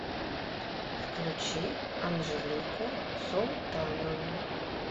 включи анжелику султанову